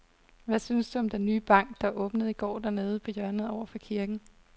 Hvad synes du om den nye bank, der åbnede i går dernede på hjørnet over for kirken?